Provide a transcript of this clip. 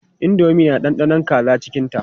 Indomi na da ɗanɗanon kaza cikinta.